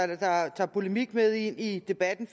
der tager polemik med ind i debatten